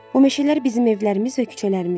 Bu meşələr bizim evlərimiz və küçələrimizdir.